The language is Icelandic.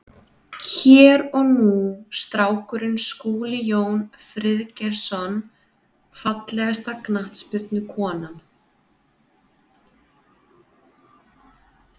Hér og nú strákurinn Skúli Jón Friðgeirsson Fallegasta knattspyrnukonan?